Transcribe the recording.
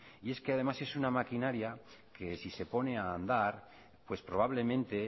y es que además es una maquinaria que si se pone a andar pues probablemente